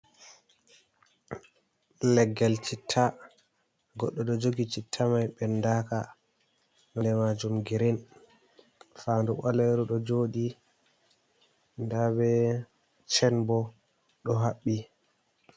Leggel chitta. goɗɗo ɗo jogi chitta mai bendaka. nonɗe majum girin. Fandu baleru ɗo joɗi. Nda be chen bo ɗo habbi.